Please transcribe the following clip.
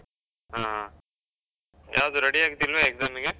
ಹಾ, ಯಾವ್ದು ready ಆಗ್ತಿಲ್ವಾ exam ಗೆ?